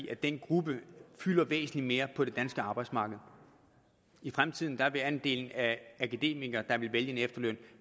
at den gruppe fylder væsentlig mere på det danske arbejdsmarked i fremtiden vil andelen af akademikere der vil vælge en efterløn